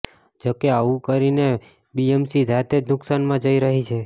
જોકે આવું કરીને બીએમસી જાતે જ નુકસાનમાં જઈ રહી છે